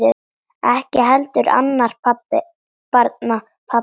Ekki heldur annarra barna pabbi.